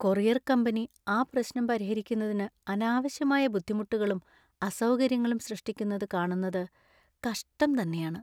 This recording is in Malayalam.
കൊറിയർ കമ്പനി ആ പ്രശ്‌നം പരിഹരിക്കുന്നതിന് അനാവശ്യമായ ബുദ്ധിമുട്ടുകളും അസൗകര്യങ്ങളും സൃഷ്‌ടിക്കുന്നത് കാണുന്നത് കഷ്ടം തന്നെയാണ്.